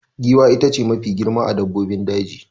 Giwa ita ce Mafi girma a dabbobin daji